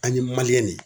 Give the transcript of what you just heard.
An ye de